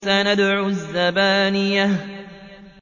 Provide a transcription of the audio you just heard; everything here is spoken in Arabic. سَنَدْعُ الزَّبَانِيَةَ